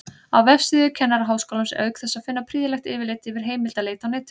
Á vefsíðu Kennaraháskólans er auk þess að finna prýðilegt yfirlit yfir heimildaleit á netinu.